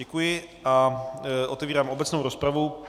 Děkuji a otevírám obecnou rozpravu.